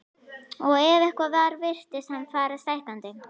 Og ef eitthvað var virtist hann fara stækkandi.